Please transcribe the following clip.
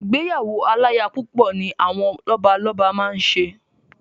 Ìgbéyàwó aláyapúpọ̀ ni àwọn Lọ́balọ́ba máa ń ṣe